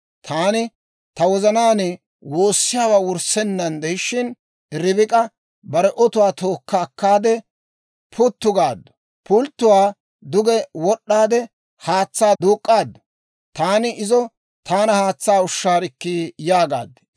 «Taani ta wozanaan woossiyaawaa wurissenaan de'ishshin, Ribik'a bare otuwaa tookka akkaade, puttu gaaddu; pulttuwaa duge wod'd'aade haatsaa duuk'k'aadu; taani izo, ‹Taana haatsaa ushshaarikkii› yaagaad.